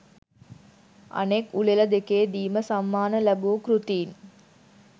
අනෙක් උළෙල දෙකේ දීම සම්මාන ලැබූ කෘතීන්